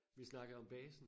Vi snakkede om basen